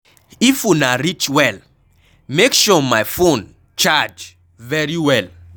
If una reach well, make sure my phone charge very well.